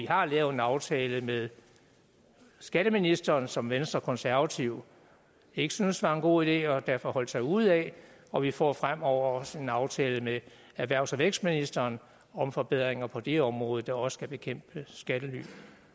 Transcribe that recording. har lavet en aftale med skatteministeren som venstre og konservative ikke syntes var en god idé og derfor holdt sig ude af og vi får fremover også en aftale med erhvervs og vækstministeren om forbedringer på det område der også skal bekæmpe brugen skattely